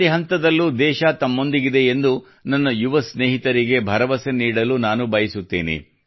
ಪ್ರತಿ ಹಂತದಲ್ಲೂ ದೇಶವು ತಮ್ಮೊಂದಿಗಿದೆ ಎಂದು ನನ್ನ ಯುವ ಸ್ನೇಹಿತರಿಗೆ ಭರವಸೆ ನೀಡಲು ನಾನು ಬಯಸುತ್ತೇನೆ